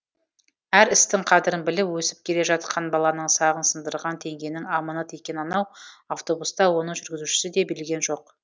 әр істің қадірін біліп өсіп келе жатқан баланың сағын сындырған теңгенің аманат екенін анау автобус та оның жүргізушісі де білген жоқ